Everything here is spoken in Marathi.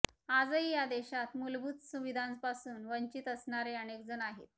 आजही या देशात मूलभूत सुविधांपासून वंचित असणारे अनेकजण आहेत